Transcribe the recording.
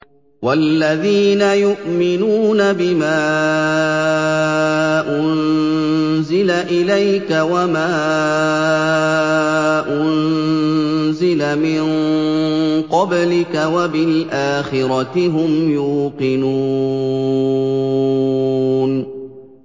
وَالَّذِينَ يُؤْمِنُونَ بِمَا أُنزِلَ إِلَيْكَ وَمَا أُنزِلَ مِن قَبْلِكَ وَبِالْآخِرَةِ هُمْ يُوقِنُونَ